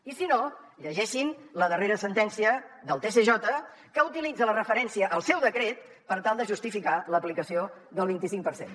i si no llegeixin la darrera sentència del tsj que utilitza la referència al seu decret per tal de justificar l’aplicació del vint i cinc per cent